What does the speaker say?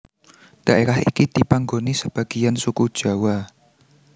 Daerah iki dipanggoni sebagiyan suku Jawa